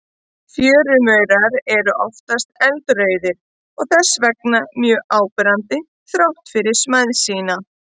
Fjörumaurar eru oftast eldrauðir og þess vegna mjög áberandi þrátt fyrir smæð sína.